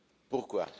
pourquoi,